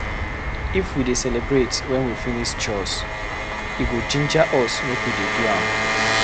If we dey celebrate when we finish chores, e go ginger us make we dey do am.